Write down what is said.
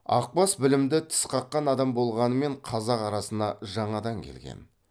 ақбас білімді тіс қаққан адам болғанмен қазақ арасына жаңадан келген